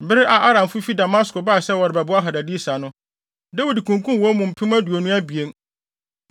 Bere a Aramfo fi Damasko bae sɛ wɔrebɛboa Hadadeser no, Dawid kunkum wɔn mu mpem aduonu abien.